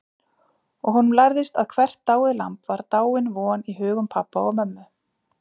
Og honum lærðist að hvert dáið lamb var dáin von í hugum pabba og mömmu.